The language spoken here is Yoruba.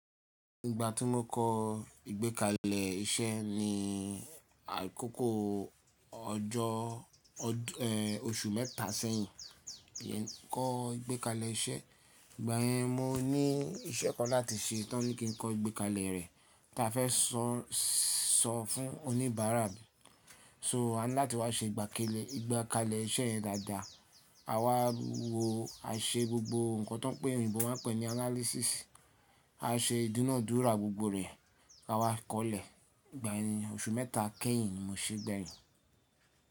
Ìgbà tí mo kọ́ ìgbékalẹ̀ iṣẹ́ ni àkókò ọjọ́, oṣù mẹ́ta sẹ́yìn. Kọ́ ìgbékalẹ̀ iṣẹ́, ìgbà yẹn mo ní iṣẹ́ kan láti ṣe tó ní kí n kọ ìgbékalẹ̀ rẹ̀ kí a fẹ́ sọ, sọ fún oníbàárà. So ani láti wá ṣe ìgbékalẹ̀ iṣẹ́ yẹn dáadáa. A wá wo a ṣe gbogbo nǹkan tó òyìnbó máa n pè ní analysis. A ṣe ìdúnàádúrà gbogbo rẹ̀. A wá kọ̀lẹ̀, ìgbà yẹn oṣù mẹ́ta kẹ́yìn mo sì gbẹyin.